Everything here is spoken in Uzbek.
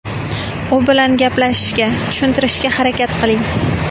U bilan gaplashishga, tushuntirishga harakat qiling.